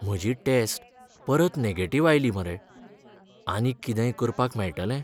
म्हजी टॅस्ट परत नॅगेटिव्ह आयली मरे. आनीक कितेंय करपाक मेळटले?